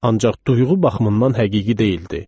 Ancaq duyğu baxımından həqiqi deyildi.